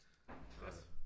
Godt